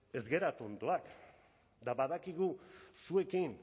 ez gara tontoak eta badakigu zuekin